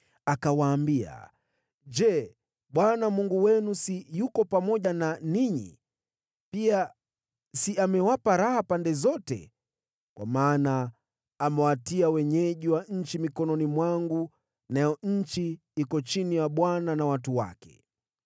Akawaambia, “Je, Bwana Mungu wenu si yuko pamoja na ninyi? Pia si amewapa raha pande zote? Kwa maana amewatia wenyeji wa nchi mkononi mwangu, nayo nchi iko chini ya Bwana na watu wake.